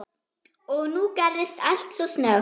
Og nú gerðist allt svo snöggt.